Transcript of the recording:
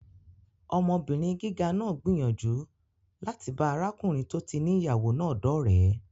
Ọmọbìnrin gíga náà gbìyànjú láti bá arákùnrin tó ti ní ìyàwó náà dọ́ọ̀rẹ́